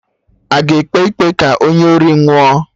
Aga ekpe ikpe ka onye ori nwụọ?